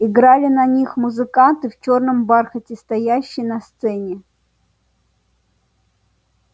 играли на них музыканты в чёрном бархате стоящие на сцене